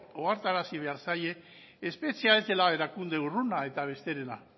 ohartarazi behar zaie espetxea ez dela erakunde urruna eta besterena